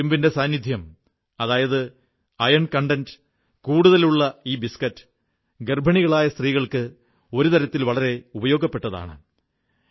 ഇരുമ്പിന്റെ സാന്നിദ്ധ്യം അയൺ കൂടുതലുള്ള ഈ ബിസ്കറ്റ് ഗർഭിണികളായ സ്ത്രീകൾക്ക് വളരെ പ്രയോജനം ചെയ്യുന്നതാണ്